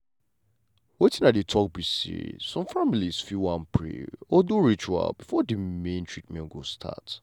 wetin i dey talk be say some families fit wan pray or do ritual before the main treatment go start.